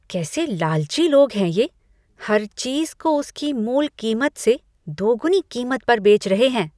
कैसे लालची लोग हैं ये, हर चीज को उसकी मूल कीमत से दोगुनी कीमत पर बेच रहे हैं।